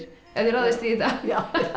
ef þið ráðist í þetta já